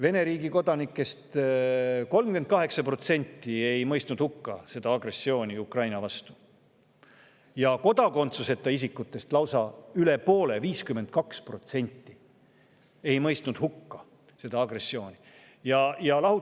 Vene riigi kodanikest 38% ja kodakondsuseta isikutest lausa üle poole, 52% ei mõistnud hukka seda agressiooni Ukraina vastu.